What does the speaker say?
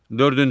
Dördüncü.